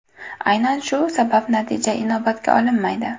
Aynan shu sabab natija inobatga olinmaydi.